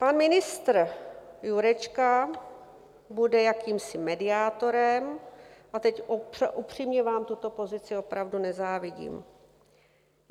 Pan ministr Jurečka bude jakýmsi mediátorem, a teď upřímně vám tuto pozici opravdu nezávidím.